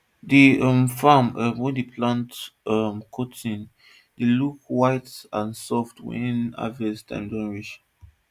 d um farm um wey dey plant um cotton dey look white and soft wen harvesting time don reach